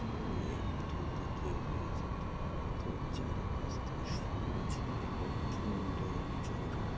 দুদিকে রয়েছে দুটো পাথর যার পাস থেকে সবুজ এবং সুন্দর জল--